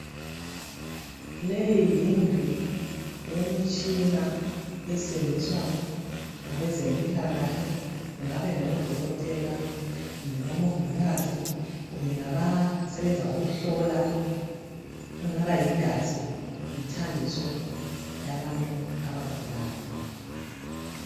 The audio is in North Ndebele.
Leyi yindlu yemitshina esetshenziswa ngabezempilakahle kungabe ngodokotela, kumbe ngomongikazi, kumbe ngabasebenza ukuhlola kungaba yigazi, yimithambiso yabantu abagulayo